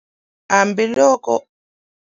Hambiloko.